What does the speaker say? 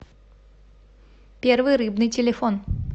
первый рыбный телефон